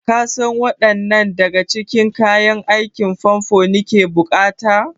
Kasan waɗanne daga cikin kayan aikin famfo nake buƙata?